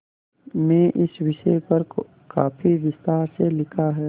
में इस विषय पर काफी विस्तार से लिखा है